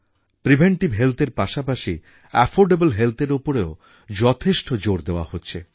preventive হেলথএর পাশাপাশি affordable হেলথএর ওপরও যথেষ্ট জোর দেওয়া হচ্ছে